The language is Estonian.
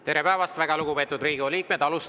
Tere päevast, väga lugupeetud Riigikogu liikmed!